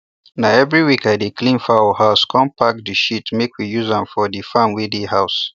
na every week i dey clean foul house com pack their shit make we use am for the farm wey dey house